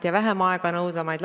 Mida te olete tegelikult ette pannud?